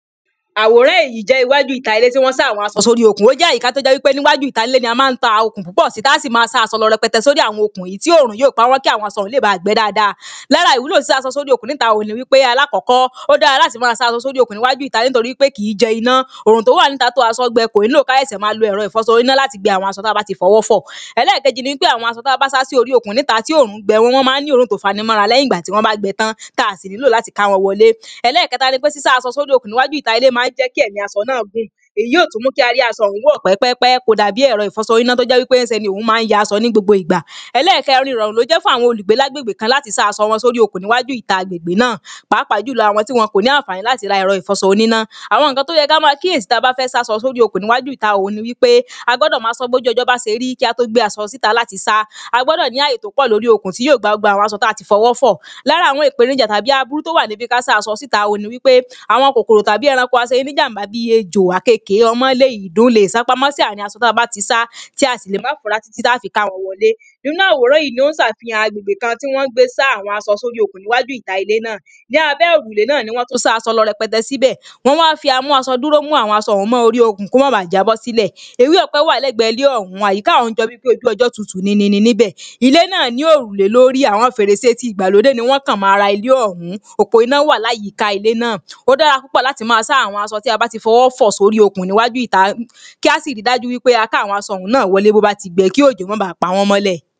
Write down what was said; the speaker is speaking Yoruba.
aworan eyi je iwaju ita ile ti won sa aso si ori okun, o je awon ayika to je wipe niwaju ita ile ni a ma ta okun pupo si ta si ma sa aso lo repete sori awon okun yi ti orun yoo pa won ki awon aso ohun le ba gbe daada. Lara iwulo sisa aso sori okun nita ni wipe alakoko odaara lati ma sa aso sori okun ni iwaju ita tori pe ki i je ina, orun to wa ni ita to aso gbe, ko ni lo ka sese ma lo ero ifoso ina lati gbe awon aso ta ba ti fowo fo. Elekeji ni pe awon aso ta ba sa si ori okun nita ti orun gbe won maa ni orun to fanimora leyin igba ti won ba gbe tan, ta si nilo lati ka won wole. Eleketa ni pe sisa aso sori okun niwaju ita ile ma nje ki emi aso naa gun, eyi yoo tumu ki a ri aso ohun wo pe pe pe, ko dabi ero ifoso ina to je wipe ohun maa nya aso nigbogbo igba. Elekerin irorun lo je fun awon olugbe lagbegbe kan lati sa aso won sori okun ni iwaju ita gbegbe naa, paapa julo awon ti won ko ni afaani lati ra ero ifoso onina. Awon nnkan to ye kama kiyeesi taba fe sa aso sori okun niwaju ita oni wipe: a gbodo maa so boju ojo ba se ri ki a to gbe aso sita lati sa, a gbodo ni aye to po lori okun ti yoo gba gbogbo awon aso ti a ti fowo fo. Lara awon ipenija tabi aburo to wa nibi pe ka sa aso sita oni wipe, awon kokoro taki eranko aseni nijamba bi ejo, akeke, omole, idun le sa pamo si arin aso taba ti sa, ti a se le ma fura titi a ta fi ka won wole. Inu aworan yi ni o safihan agbegbe kan ti won gbe sa awo aso so ri okun niwaju ita ile na, ni abe orule na ni won tun sa awon aso repete sibe, won wa fi amu asoduro mu awon aso ohun mo ori okun ko ma ba jabo sile, ewe ope wa legbe ile ohun, ayika ohun jo bi pe oju ojo tutu ninini nibe, ile naa ni orule lori, awon ferese ti igbalode ni won kan mo ara ile ohun. Opo ina wa layika ile naa. Odaara pupo lati maa sa awon aso ti a ba ti fowo fo sori okun niwaju ita, ki a si ri daju wipe a ka awon aso naa wole ti o ba ti gbe ki ojo ma ba pa won mole